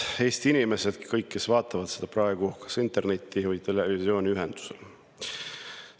Head Eesti inimesed, kõik, kes vaatavad seda praegu kas interneti või televisiooni vahendusel!